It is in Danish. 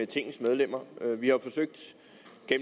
tingets medlemmer vi har jo